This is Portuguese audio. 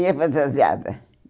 Ia fantasiada.